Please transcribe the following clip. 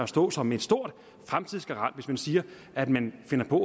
stå som en stor fremtidsgarant hvis man siger at man finder på